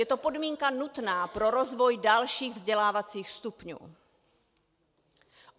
Je to podmínka nutná pro rozvoj dalších vzdělávacích stupňů.